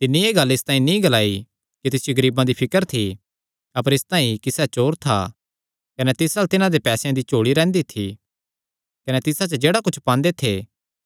तिन्नी एह़ गल्ल इसतांई नीं ग्लाई कि तिसियो गरीबां दी फिकर थी अपर इसतांई कि सैह़ चोर था कने तिस अल्ल तिन्हां दे पैसेयां दी झोल़ी रैंह्दी थी कने तिसा च जेह्ड़ा कुच्छ पांदे थे